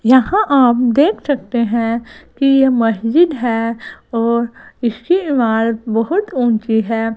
यहां आप देख सकते हैं कि यह मस्जिद है और इसकी इमारत बहुत ऊंची है।